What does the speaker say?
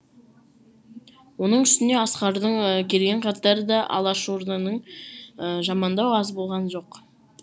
оның үстіне асқардың келген хаттары да алашорданың жамандау аз болған жоқ